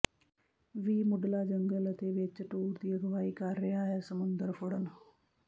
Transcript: ਵੀ ਮੁੱਢਲਾ ਜੰਗਲ ਅਤੇ ਵਿੱਚ ਟੂਰ ਦੀ ਅਗਵਾਈ ਕਰ ਰਿਹਾ ਹੈ ਸਮੁੰਦਰ ਫੜਨ